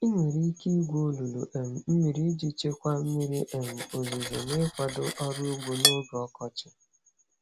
Ị nwere ike igwu olulu um mmiri iji chekwaa mmiri um ozuzo na ịkwado ọrụ ugbo n'oge ọkọchị.